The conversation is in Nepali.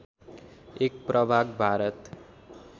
एक प्रभाग भारत